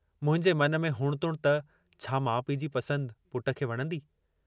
मुंहिंजे मन में हुण-तुण त छा माउ पीउ जी पसंदि पुट खे वणंदी?